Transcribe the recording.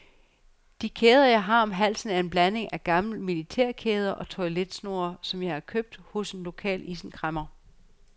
De kæder jeg har om halsen er en blanding af gamle militærkæder og toiletsnore, som jeg har købt hos den lokale isenkræmmer.